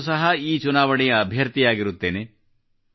ನಾನೂ ಸಹ ಈ ಚುನಾವಣೆಯ ಅಭ್ಯರ್ಥಿಯಾಗಿರುತ್ತೇನೆ